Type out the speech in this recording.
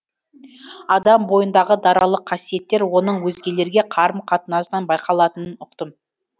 адам бойындағы даралық қасиеттер оның өзгелерге қарым қатынасынан байқалатынын ұқтым